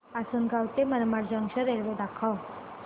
आसंनगाव ते Manmad junction railway दाखव